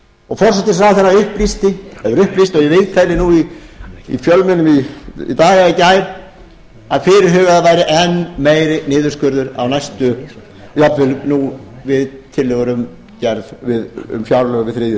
og forsætisráðherra upplýsti það í viðtölum í fjölmiðlum í dag eða í gær að fyrirhugaður væri enn meiri niðurskurður jafnvel nú við tillögur um fjárlög við þriðju umræðu